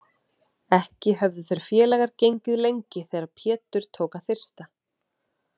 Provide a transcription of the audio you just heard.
Ekki höfðu þeir félagar gengið lengi þegar Pétur tók að þyrsta.